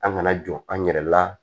An kana jɔ an yɛrɛ la